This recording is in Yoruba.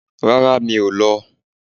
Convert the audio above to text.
Rárá, mi o lọ.